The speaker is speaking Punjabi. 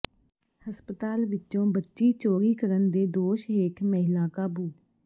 ਹਸਪਤਾਲ ਵਿੱਚੋਂ ਬੱਚੀ ਚੋਰੀ ਕਰਨ ਦੇ ਦੋਸ਼ ਹੇਠ ਮਹਿਲਾ ਕਾਬੂ